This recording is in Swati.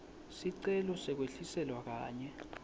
sicelo sekwehliselwa kanye